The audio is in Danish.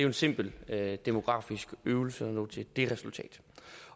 en simpel demografisk øvelse at nå til det resultat